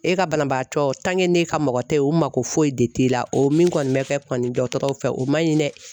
E ka banabaatɔ ka mɔgɔ tɛ o mako foyi de t'i la o min kɔni bɛ kɛ kɔni dɔgɔtɔrɔw fɛ o man ɲi dɛ.